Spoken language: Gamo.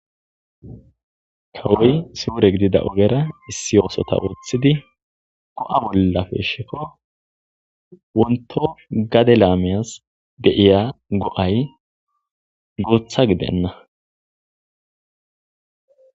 Kawoy suure gidida ogiyara issi oosota oothidi go'a bolla peeshikko wontho gade laamiyas de'ya go'ay guuththa gidenna